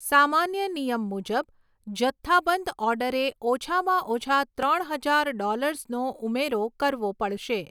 સામાન્ય નિયમ મુજબ, જથ્થાબંધ ઓર્ડરે ઓછામાં ઓછા ત્રણ હજાર ડૉલર્સનો ઉમેરો કરવો પડશે.